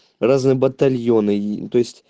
разные батальоны и то есть